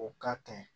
O ka kan